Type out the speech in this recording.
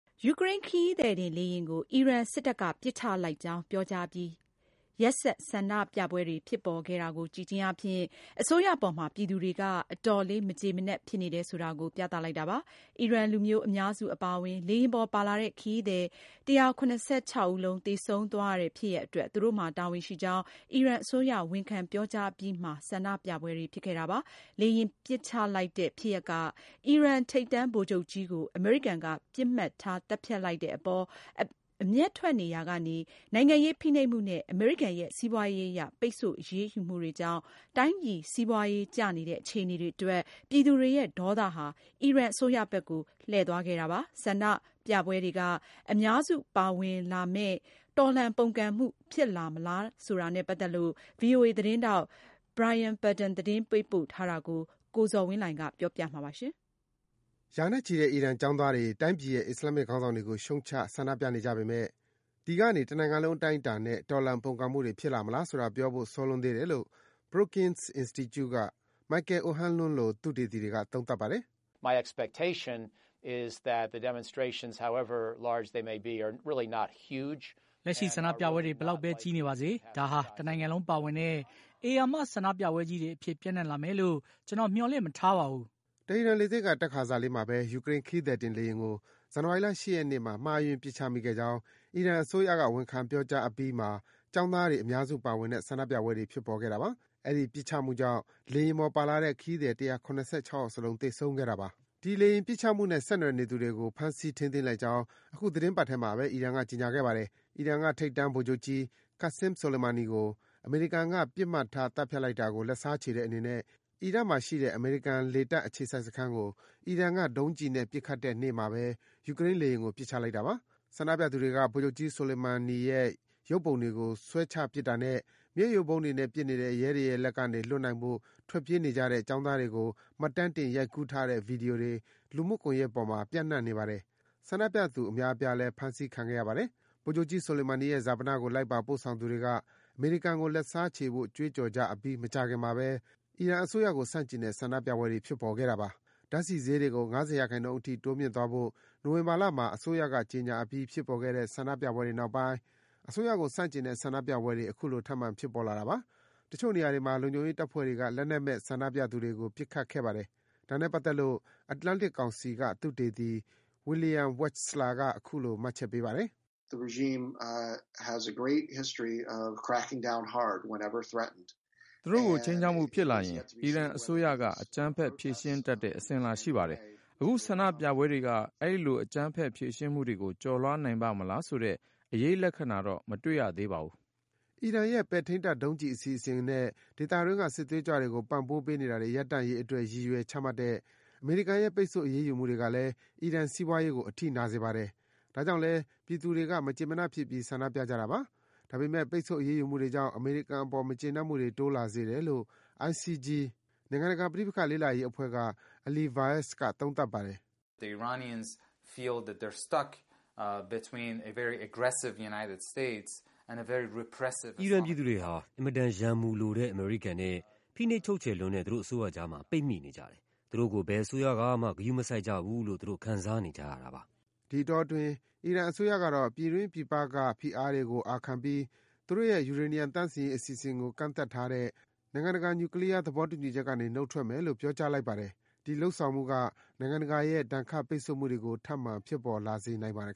ယူကရိန်း ခရီးသည်တင် လေယာဉ်ကို အီရန်စစ်တပ်က ပစ်ချလိုက်ကြောင်း ပြောကြားအပြီး ရက်ဆက် ဆန္ဒပြပွဲတွေ ဖြစ်ပေါ်ခဲ့တာကို ကြည့်ခြင်းအားဖြင့် အစိုးရအပေါ် ပြည်သူတွေက အတော်လေး မကျေမနပ် ဖြစ်နေတယ် ဆိုတာကို ပြသလိုက်တာပါ။ အီရန်လူမျိုး အများစု အပါအဝင် လေယာဉ်ပေါ် ပါလာတဲ့ ခရီးသည် ၁၇၆ ယောက် သေဆုံးသွားရတဲ့ ဖြစ်ရပ်အတွက် သူတို့မှာတာဝန်ရှိကြောင်း အီရန်အစိုးရ ဝန်ခံ ပြောကြားအပြီးမှာ ဆန္ဒပြပွဲတွေ ဖြစ်ခဲ့တာပါ။ လေယာဉ်ပစ်ချလိုက်တဲ့ ဖြစ်ရပ်က အီရန်က ထိပ်တန်းဗိုလ်ချုပ်ကြီးကို အမေရိကန်က ပစ်မှတ်ထား သတ်ဖြတ်လိုက်တဲ့ အပေါ် အမျက်ထွက်နေရာ ကနေ နိုင်ငံရေး ဖိနှိပ်မှုနဲ့ အမေရိကန်ရဲ့ စီးပွားရေးအရ ပိတ်ဆို့ အရေးယူမှုတွေကြောင့် တိုင်းပြည်စီးပွားကျနေတဲ့ အခြေအနေတွေအတွက် ပြည်သူတွေရဲ့ ဒေါသဟာ အီရန်အစိုးရဘက်ကို လှည့်သွားခဲ့ပါတယ်။ ဒီဆန္ဒပြပွဲတွေက အများစုပါဝင်လာမယ့် တော်လှန်ပုန်ကန်မှုဖြစ်လာမလားတာနဲ့ ပတ်သက်လို့ ဗွီအိုအေ သတင်းထောက် Brian Padden သတင်းပေးပို့ထားတာကို ကိုဇော်ဝင်းလှိုင်က တင်ပြပေးပါမယ်။ ရာနဲ့ချီတဲ့ အီရန်ကျောင်းသားတွေက တိုင်းပြည်ရဲ့ အစ္စလာမ္မစ် ခေါင်းဆောင်တွေကို ရှုတ်ချ ဆန္ဒပြနေကြပေမယ့် ဒီကနေ တနိုင်ငံလုံး အတိုင်းအတာနဲ့ တော်လှန် ပုန်ကန်မှုတွေ ဖြစ်လာ မလားဆိုတာ ပြောဖို့ စောလွန်းသေးတယ်လို့ Brookings Institution က Michael O’Hanlon လို သုတေသီတွေက သုံးသပ်ပါတယ်။ “လက်ရှိ ဆန္ဒပြပွဲတွေ ဘယ်လောက်ဘဲ ကြီးနေပါစေ ဒါဟာ တနိုင်ငံလုံး ပါဝင်တဲ့ ဧရာမ ဆန္ဒပြပွဲကြီးတွေ အဖြစ် ပျံ့နှံ့ လာမယ်လို့ ကျနော် မျှော်လင့်မထားပါဘူး။” တီဟီရန်လေဆိပ်က တက်ခါစ လေးမှာဘဲ ယူကရိန်း ခရီးသည်တင် လေယာဉ်ကို ဇန်နဝါရီလ ၈ ရက်နေ့က မှားယွင်း ပစ်ချမိခဲ့ကြောင်း အီရန်အစိုးရက ဝန်ခံ ပြောကြားအပြီးမှာ ကျောင်းသားတွေ အများစုပါဝင်တဲ့ ဆန္ဒပြပွဲတွေ ဖြစ်ပေါ်ခဲ့တာပါ။ အဲဒီ ပစ်ချမှုကြောင့် လေယာဉ်ပေါ် ပါလာတဲ့ ခရီးသည် ၁၇၆ ယောက်စလုံး သေဆုံးခဲ့တာပါ။ အဲဒီလေယာဉ်ပစ်ချမှုနဲ့ ဆက်နွယ်နေသူတွေကို ဖမ်းဆီး ထိန်းသိမ်းလိုက်ကြောင်း အခုသီတင်းပတ် ထဲမှာဘဲ အီရန်က ကြေညာခဲ့ပါတယ်။ အီရန်က ထိပ်တန်းဗိုလ်ချုပ်ကြီး Qassem Soleimani ကို အမေရိကန်က ပစ်မှတ်ထား သတ်ဖြတ်လိုက်တာကို လက်စားချေတဲ့ အနေနဲ့ အီရတ်မှာရှိတဲ့ အမေရိကန်လေတပ် အခြေစိုက် စခန်းကို အီရန်က ဒုံးကျည်နဲ့ ပစ်ခတ်တဲ့နေ့မှာဘဲ ယူကရိန်းလေယာဉ်ကို ပစ်ချလိုက်တာပါ။ ဆန္ဒပြသူတွေက ဗိုလ်ချုပ်ကြီး Soleimani ရဲ့ ရုပ်ပုံတွေကို ဆွဲချပစ်တာနဲ့ မျက်ရည်ယိုဗုံးတွေနဲ့ ပစ်နေတဲ့ ရဲတွေရဲ့လက်က လွတ်နိုင်ဖို့ ထွက်ပြေးနေကြတဲ့ ကျောင်းသားတွေကို မှတ်တမ်းတင် ရိုက်ကူးထားတဲ့ ဗွီဒီယိုတွေ လူမှုကွန်ယက်ပေါ်မှာ ပျံ့နှံ့နေပါတယ်။ ဆန္ဒပြသူ အများအပြားလည်း ဖမ်းဆီးခံခဲ့ရပါတယ်။ ဗိုလ်ချုပ်ကြီး Soleimani ရဲ့ ဈာပနကို လိုက်ပါ ပို့ဆောင်ကြသူတွေက အမေရိကန်ကို လက်စားချေဖို့ ကြွေးကြော်ကြ အပြီး မကြာခင်မှာဘဲ အီရန်အစိုးရကို ဆန့်ကျင်တဲ့ ဆန္ဒပြပွဲတွေ ဖြစ်ပေါ်ခဲ့တာပါ။ ဓါတ်ဆီဈေးတွေကို ၅၀ ရာခိုင်နှုန်း အထိ တိုးမြင့်သွားဖို့ နိုဝင်ဘာလမှာ အစိုးရက ကြေညာအပြီး ဖြစ်ပေါ်ခဲ့တဲ့ ဆန္ဒပြပွဲတွေနောက်ပိုင်း အစိုးရကို ဆန့်ကျင်တဲ့ ဆန္ဒပြပွဲတွေ အခုလို ထပ်မံ ဖြစ်ပေါ်လာတာပါ။ တချို့နေရာတွေမှာ လုံခြုံရေးတပ်ဖွဲ့တွေက လက်နက်မဲ့ ဆန္ဒပြသူတွေကို ပစ်ခတ်ခဲ့ပါတယ်။ ဒါနဲ့ပတ်သက်လို့ Atlantic ကောင်စီက သုတေသီ William Wechsler က အခုလို မှတ်ချက်ပေးပါတယ်။ “သူတို့ကို ခြိမ်းခြောက်မှုဖြစ်လာရင် အီရန်အစိုးရက အကြမ်းဖက် ဖြေရှင်းတတ်တဲ့ အစဉ်အလာ ရှိပါတယ်။ အခုဆန္ဒပြပွဲတွေက အဲဒီလို အကြမ်းဖက် ဖြေရှင်းမှုတွေကို ကျော်လွားနိုင်ပါ့မလားဆိုတဲ့ အရိပ်လက္ခဏာတော့ မတွေ့ရသေးပါဘူး။” အီရန်ရဲ့ ပဲ့ထိန်းတပ် ဒုံးကျည် အစီအစဉ်နဲ့ ဒေသတွင်းက စစ်သွေးကြွတွေကို ပံ့ပိုးနေတာတွေ ရပ်တန့်ရေးအတွက် ရည်ရွယ် ချမှတ်တဲ့ အမေရိကန်ရဲ့ ပိတ်ဆို့အရေးယူမှုတွေကလည်း အီရန်စီးပွားရေးကို အထိနာစေပါတယ်။ ဒါကြောင့်လည်း ပြည်သူတွေက မကျေမနပ်ဖြစ်ပြီး ဆန္ဒပြကြတာပါ။ ဒါပေမယ့် ပိတ်ဆို့ အရေးယူမှုတွေကြောင့် အမေရိကန် အပေါ် မကျေနပ်မှုတွေ တိုးလာစေတယ်လို့ ICG နိုင်ငံတကာ ပဋိပက္ခလေ့လာရေးအဖွဲ့က Ali Vaez က သုံးသပ်ပါတယ်။ “အီရန် ပြည်သူတွေက အင်မတန် ရန်မူလိုတဲ့ အမေရိကန်နဲ့ ဖိနှိပ်ချုပ်ချယ်လွန်းတဲ့ သူတို့အစိုးရကြားမှာ ပိတ်မိနေတယ်၊ သူတို့ကို ဘယ်အစိုးရကမှ ဂရုမစိုက်ကြဘူးလို့ ခံစားနေကြရတာပါ။” ဒီအတောအတွင်း အီရန်အစိုးရကတော့ ပြည်တွင်း၊ ပြည်ပက ဖိအားတွေကို အာခံပြီး သူတို့ရဲ့ ယူရေနီယံ သန့်စင်ရေး အစီအစဉ်ကို ကန့်သတ်ထားတဲ့ နိုင်ငံတကာ နျူးကလီးယားသဘောတူညီချက်ကေနေ နုတ်ထွက်မယ်လို့ ပြောကြားလိုက်ပါတယ်။ ဒီ လုပ်ဆောင်မှုတွေက နိုင်ငံတကာရဲ့ ဒဏ်ခတ်ပိတ်ဆို့မှုတွေကို ထပ်မံ ဖြစ်ပေါ်လာစေနိုင်ပါတယ်